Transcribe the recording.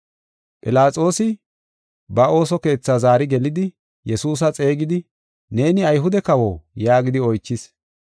Philaxoosi ba ooso keetha zaari gelidi, Yesuusa xeegidi, “Neeni Ayhude kawo?” yaagidi oychis.